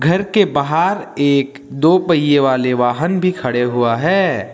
घर के बाहर एक दो पहिये वाले वाहन भी खड़े हुआ हैं।